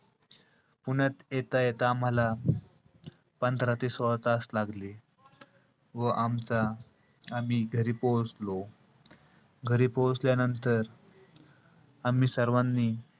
पुण्यात येता-येता आम्हाला पंधरा ते सोळा तास लागले. व आमचा~ आम्ही घरी पोहोचलो. घरी पोहोचल्यानंतर आम्ही सर्वानी,